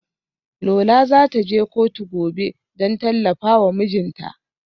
Lola za ta je kotu gobe don tallafa wa mijinta.